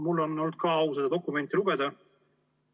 Mul on olnud ka au seda dokumenti lugeda.